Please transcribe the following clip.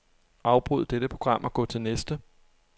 Afbryd dette program og gå til næste.